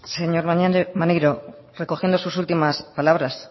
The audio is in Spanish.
señor maneiro recogiendo sus últimas palabras